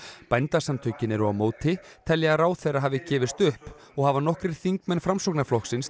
bændasamtökin eru á móti telja að ráðherra hafi gefist upp og hafa nokkrir þingmenn Framsóknarflokksins